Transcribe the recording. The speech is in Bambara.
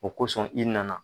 O kosɔn i nana.